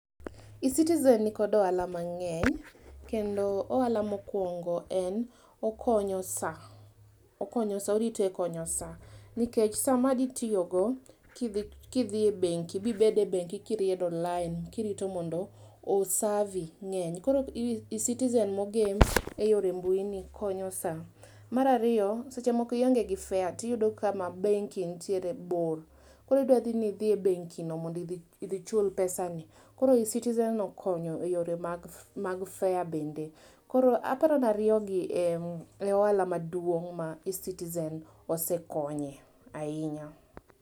E-citizen niko ohala mang'eny kenco ohala mokwongo okonyo saa, oriti e konyo saa nikech sama ditiyo go kidhi kidhi e bengi kibede bengi kiriedo lain kirito mondo osavi ng'eny. Koro e-citizen mogem e yor mbui ni konyo saa. Mar ariyo seche moko ionge gi fare tiyudo ka kama bengi ntiere bor koro idwa dhi idhi e bengi no mondo idhi chul pesani . Koro e-citizen okonyo eyore mag fare bende koro aparo ni ariyo gi e ohala maduong' ma e-citizen osekonye ahinya.